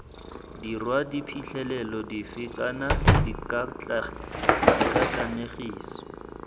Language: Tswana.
dirwa diphitlhelelo dife kana dikatlanegiso